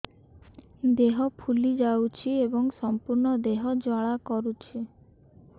ଦେହ ଫୁଲି ଯାଉଛି ଏବଂ ସମ୍ପୂର୍ଣ୍ଣ ଦେହ ଜ୍ୱାଳା କରୁଛି